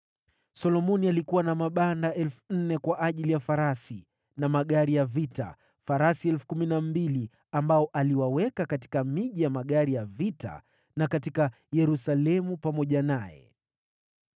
Solomoni alikuwa na mabanda 4,000 kwa ajili ya farasi na magari ya vita, farasi 12,000 ambao aliwaweka katika miji ya magari ya vita na katika Yerusalemu pamoja naye.